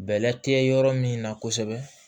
Bɛlɛ tɛ yɔrɔ min na kosɛbɛ